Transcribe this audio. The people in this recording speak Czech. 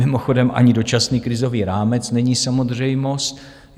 Mimochodem ani dočasný krizový rámec není samozřejmost.